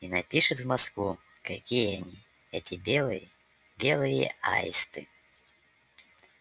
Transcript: и напишет в москву какие они эти белые белые аисты